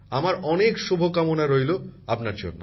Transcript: আমার অনেক শুভকামনা রইল আপনার জন্য